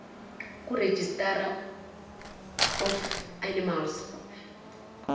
kuregistrar of animals